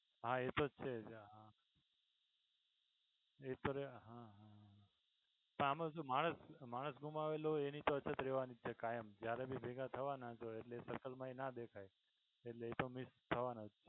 હા એતો છે જ હા એતો રહે હા પણ આમાં શું માણસ માણસ ગુમાવેલો હોય એની અછત તો રહેવાની છે કાયમ જયારે ભી ભેગા થવાના તો એટલે એ circle માં ના દેખાય એટલે એતો miss થવાના જ